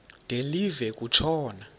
de live kutshona